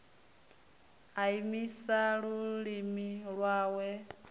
a imise lulimi lwawe u